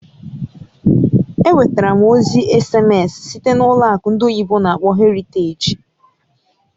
Enwetara m ozi èsèmésị site na ụlọ akụ ndị oyibo n'akpọ "Heritage".